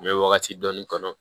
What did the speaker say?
N bɛ wagati dɔni kɔnɔ